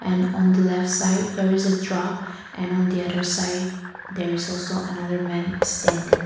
and on the left side there is a truck and on the other side there is also another man standing.